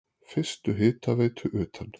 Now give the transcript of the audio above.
Fyrstu hitaveitu utan